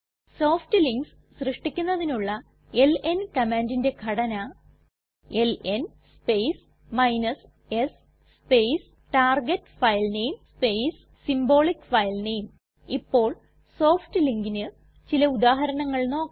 soft links സൃഷ്ടിക്കുന്നതിനുള്ള LN കമാൻഡിന്റെ ഘടന LN space s space target filename space symbolic filename ഇപ്പോൾ സോഫ്റ്റ് linkന് ചില ഉദാഹരണങ്ങൾ നോക്കാം